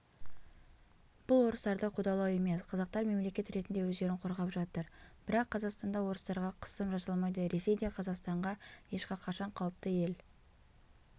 бұл орыстарды қудалау емес қазақтар мемлекет ретінде өздерін қорғап жатыр бірақ қазақстанда орыстарға қысым жасалмайды ресей де қазақстанға ешқақашан қауіпті ел